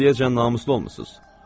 Siz indiyəcən namuslu olmusunuz.